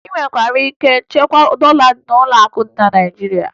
Ị nwere ike ichekwa dọla n'ụlọakụ dị na Naịjirịa